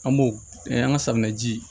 An b'o an ka safunɛ ji